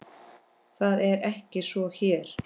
Það er ekki svo hér.